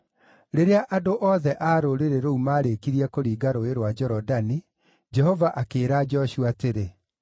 Rĩrĩa andũ othe a rũrĩrĩ rũu maarĩkirie kũringa Rũũĩ rwa Jorodani, Jehova akĩĩra Joshua atĩrĩ,